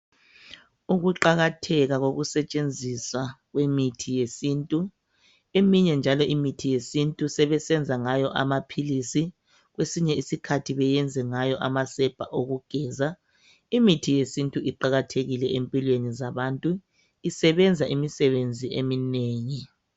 Ukuqakatheka kokusetshenziswa kwemithi yesintu. Eminye njalo imithi yesintu sebeyenza ngayo amaphilisi kwesinye isikhathi benze ngayo amasepa okugeza. Imithi yesintu iqakathekile empilweni zabantu. Isebenza imisebenzi eminengi.